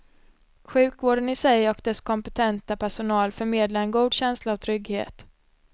Sjukvården i sig och dess kompetenta personal förmedlar en god känsla av trygghet.